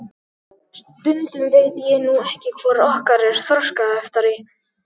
Stundum veit ég nú ekki hvor okkar er þroskaheftari.